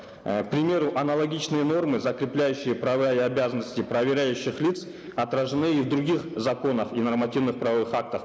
э к примеру аналогичные нормы закрепляющие права и обязанности проверяющих лиц отражены и в других законах и нормативно правовых актах